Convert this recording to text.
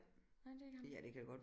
Nej det er ikke ham